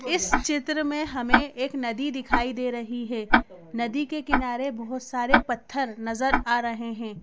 इस चित्र मैं हमे एक नदी दिखाई दे रही है नदी के किनारे बहुत सारे पत्थर नजर आ रहे हैं।